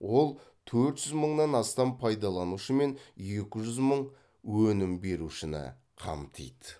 ол төрт жүз мыңнан астам пайдаланушы мен екі жүз мың өнім берушіні қамтиды